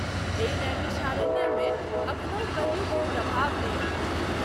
एहि नैमिषारण्य मे अखनहु कलियुग के प्रभाव नहिं अछि।